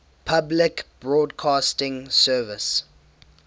public broadcasting service